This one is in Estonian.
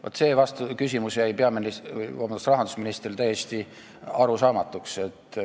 Vaat see küsimus jäi rahandusministrile täiesti arusaamatuks.